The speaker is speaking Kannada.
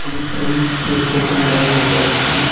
ಒಂದು ಫ್ರೆಂಡ್ಸ್ ಹೇರ್ ಕಟಿಂಗ್ ಆಗಿರಬಹುದು ಇಲ್ಲಿ--